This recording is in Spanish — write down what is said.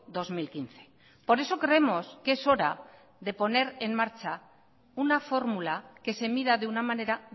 dos mil quince por eso creemos que es hora de poner en marcha una fórmula que se mida de una manera